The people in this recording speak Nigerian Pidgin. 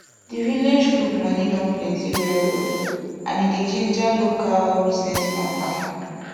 di village group money don plenty well well and e dey ginger local business matter